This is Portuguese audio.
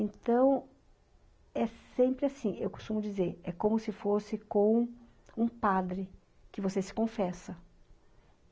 Então, é sempre assim, eu costumo dizer, é como se fosse com um padre, que você se confessa.